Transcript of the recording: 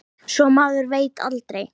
Svo maður veit aldrei.